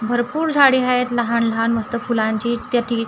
भरपूर झाडे आहेत लहान लहान मस्त फुलांची त्याटी--